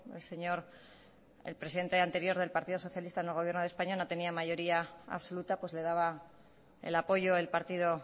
el señor el presidente anterior del partido socialista en el gobierno de españa no tenía mayoría absoluta pues le daba el apoyo el partido